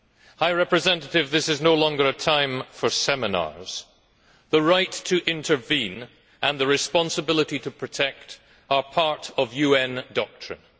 High Representative, this is no longer a time for seminars. The right to intervene and the responsibility to protect are part of UN doctrine.